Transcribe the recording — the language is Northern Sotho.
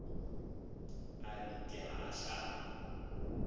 a re ke a ahlama